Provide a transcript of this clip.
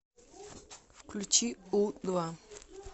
включи у два